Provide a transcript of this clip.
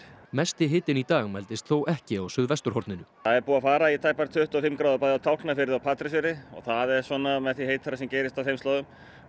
mesti hitinn í dag mældist þó ekki á suðvesturhorninu það er búið að fara í tæpar tuttugu og fimm gráður bæði á Tálknafirði og Patreksfirði og það er svona með því heitara sem gerist á þeim slóðum